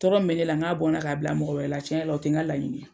Tɔɔrɔ min bɛ ne la n ka bɔnna k'a bila mɔgɔ wɛrɛ la tiɲɛ yɛrɛ la o tɛ n ka laɲini ye.